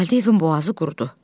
Gəldiyi evin boğazı qurudu.